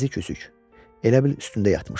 Əzik-üzük, elə bil üstündə yatmışdı.